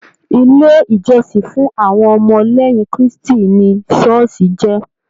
Ilé ìjósìn fún àwọn ọmọ léyìn kristi ni ṣooṣi jé.